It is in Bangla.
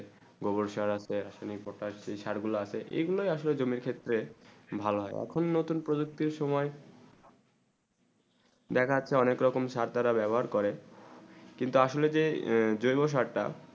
গোবর সার তে আসলে পটাস যে চার গুলু আছে এই গুলু আসলে জমিন ক্ষেত্রে ভালো হয়ে আখন নতুন প্রযুক্তি সময়ে দেখা যাচ্ছে অনেক রকম সার তারা বেবহার করে কিন্তু আসলে যে যেবসার তা